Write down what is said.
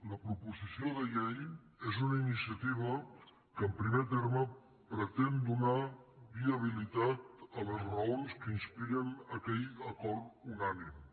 la proposició de llei és una iniciativa que en primer terme pretén donar viabilitat a les raons que inspiren aquell acord unànime